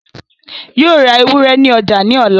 Yóò ra ewúrẹ́ ní ọjà ní ọ̀la